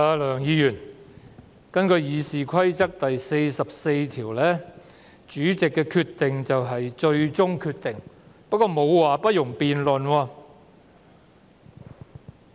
梁議員，根據《議事規則》第44條，主席所作決定為最終決定，但《議事規則》沒有說不容辯論。